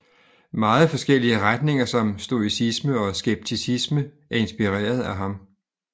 Meget forskellige retninger som Stoicisme og Skepticisme er inspireret af ham